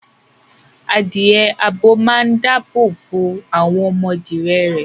Adìẹ abo máa ń dáàbò bo àwọn ọmọdìẹ rẹ̀.